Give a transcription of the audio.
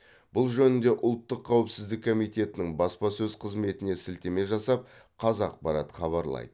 бұл жөнінде ұлттық қауіпсіздік комитетінің баспасөз қызметіне сілтеме жасап қазақпарат хабарлайды